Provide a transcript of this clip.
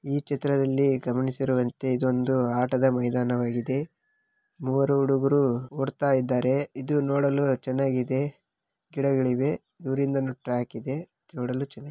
ಈ ಚಿತ್ರದಲ್ಲಿ ಗಮನಿಸಿರುವಂತೆ ಇದು ಒಂದು ಆಟದ ಮೈದಾನವಾಗಿದೆ ಮೂವರು ಹುಡುಗರು ಒಡ್ತಾ ಇದ್ದಾರೆ. ಇದು ನೋಡಲು ಚೆನ್ನಾಗಿದೆ ಗಿಡಗಳು ಇವೆ ಟ್ಟ್ಯಾಕ್‌ ಇದೆ ನೋಡಲು ಚೆನ್ನಾಗಿದೆ.